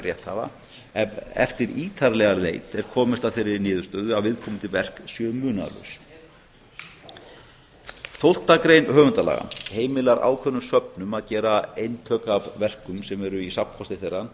rétthafa ef eftir ítarlega leit er komist að þeirri niðurstöðu að viðkomandi verk séu munaðarlaus tólfta grein höfundalaga heimilar ákveðnum söfnum að gera eintök af verkum sem eru í safnkosti þeirra til